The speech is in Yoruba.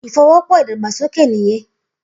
Ifówòpò idàgbásóké niyèn